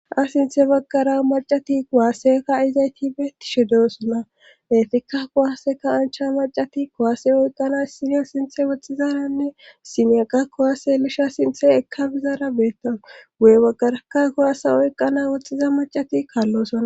Sinthe baggara macati kowaasseka izay tibe tishe doosuna efikka kowasseka ancha macati kowaase oyqqana sineya sinthe woxxizaranne simeyeqa kowaase lisha sinthe ekka bizaara beettanu guye baggarakka kowaasa oyqana woxxiza macati kaallosuna